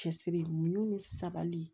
Cɛsiri min ni sabali